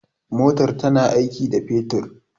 motar tana aiki da fetur